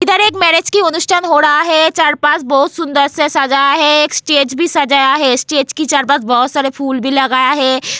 इधर एक मैरिज की अनुष्ठान हो रहा है चार पास बहुत सुंदर से सजाया है एक स्टेज भी सजाया है स्टेज की आस-पास बहुत सारे फूल भी लगाया है।